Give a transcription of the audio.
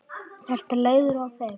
Ertu leiður á þeim?